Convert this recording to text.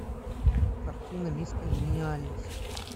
картина мисс конгениальность